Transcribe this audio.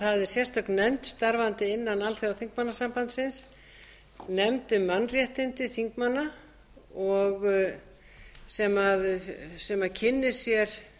sérstök nefnd starfandi innan alþjóðaþingmannasambandsins nefnd um mannréttindi þingmanna sem kynnir sér